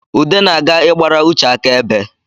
Ude na-aga ịgbara Uche aka ebe